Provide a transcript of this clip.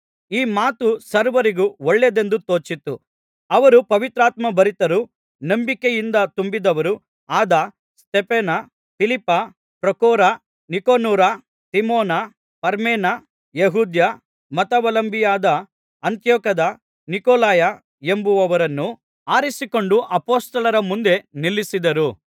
ಈ ಮಾತು ಸರ್ವರಿಗೂ ಒಳ್ಳೆಯದೆಂದು ತೋಚಿತು ಅವರು ಪವಿತ್ರಾತ್ಮಭರಿತರೂ ನಂಬಿಕೆಯಿಂದ ತುಂಬಿದವರೂ ಆದ ಸ್ತೆಫನ ಫಿಲಿಪ್ಪ ಪ್ರೊಖೋರ ನಿಕನೋರ ತಿಮೋನ ಪರ್ಮೇನ ಯೆಹೂದ್ಯ ಮತಾವಲಂಬಿಯಾದ ಅಂತಿಯೋಕ್ಯದ ನಿಕೊಲಾಯ ಎಂಬುವವರನ್ನೂ ಆರಿಸಿಕೊಂಡು ಅಪೊಸ್ತಲರ ಮುಂದೆ ನಿಲ್ಲಿಸಿದರು